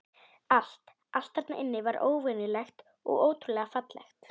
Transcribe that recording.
Allt, allt þarna inni var óvenjulegt og ótrúlega fallegt.